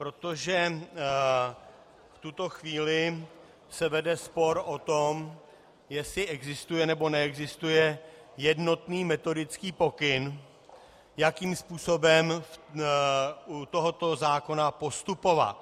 Protože v tuto chvíli se vede spor o tom, jestli existuje, nebo neexistuje jednotný metodický pokyn, jakým způsobem u tohoto zákona postupovat.